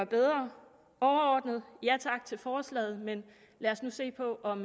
bedre overordnet ja tak til forslaget men lad os nu se på om